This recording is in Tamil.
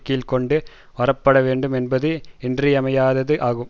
கீழ் கொண்டு வரப்பட வேண்டும் என்பது இன்றியமையாதது ஆகும்